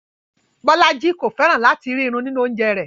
Bọlájí kò fẹ́ràn lati rí irù nínu ọ̀unjẹ̀ rẹ.